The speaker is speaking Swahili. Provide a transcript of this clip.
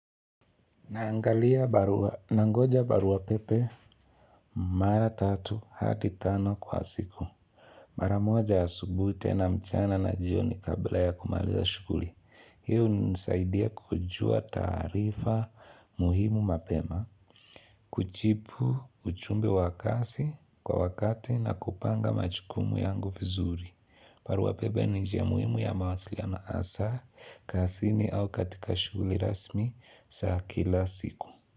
Naangalia barua, nangoja barua pepe, mara tatu hadi tano kwa siku. Mara moja ya asubuhi tena mchana na jioni kabla ya kumaliza shughuli. Hii hunisaidia kujua taarifa muhimu mapema, kujibu ujumbe wa kazi kwa wakati na kupanga majukumu yangu vizuri. Barua pepe ni njia muhimu ya mawasiliano hasa, kazini au katika shughuli rasmi za kila siku.